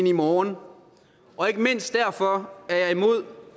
i morgen og ikke mindst derfor